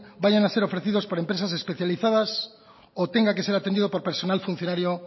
vayan a ser ofrecidos por empresas especializadas o tenga que ser atendido por personal funcionario